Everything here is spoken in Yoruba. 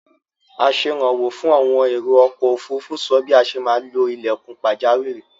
Asẹ̀rànwó fún àwọn èrò-ọkọ̀-òfurufú sọ bí a ṣe maá lo ilẹ̀kùn pàjáwìrì.